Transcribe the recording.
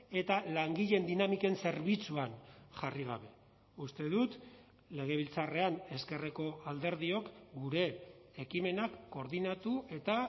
eta langileen dinamiken zerbitzuan jarri gabe uste dut legebiltzarrean ezkerreko alderdiok gure ekimenak koordinatu eta